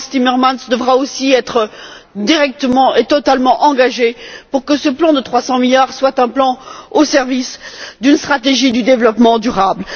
Frans Timmermans, devra aussi être directement et totalement engagé pour que ce plan de 300 milliards soit un plan au service d'une stratégie du développement durable.